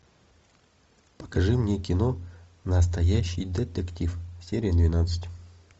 покажи мне кино настоящий детектив серия двенадцать